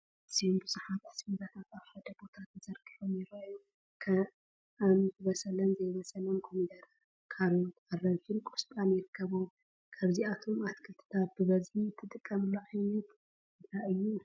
ኣዝዮም ብዙሓት ኣስቤዛታት ኣብ ሓደ ቦታ ተዘርጊሖም ይራኣዩ፡፡ ከም ዝበሰለን ዘይበሰለን ኮሚደረ፣ ካሮት፣ ኣራንሺን ቆስጣን ይርከብዎም፡፡ ካብቶም ኣትክልትታት ብበዝሒ እትጥቀምሉ ዓይነት እንታይ እዩ?